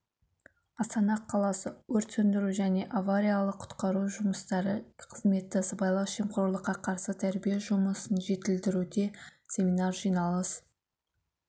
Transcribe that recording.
астана қаласы өрт сөндіру және аариялық-құтқару жұмыстары қызметі сыбайлас жемқорлыққа қарсы тәрбие жұмысын жетілдіруде семинар жиналыс